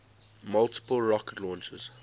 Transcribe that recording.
multiple rocket launchers